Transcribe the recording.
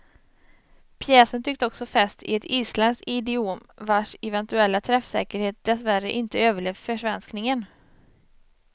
Pjäsen tycks också fäst i ett isländskt idiom vars eventuella träffsäkerhet dessvärre inte överlevt försvenskningen.